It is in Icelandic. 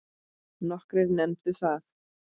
Nokkrir nefndu það.